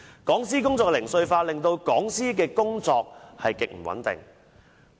講師工作零碎化，令講師的工作極不穩定。